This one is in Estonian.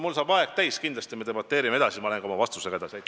Mul saab aeg täis, kindlasti me debateerime edasi, siis ma lähen ka oma vastusega edasi.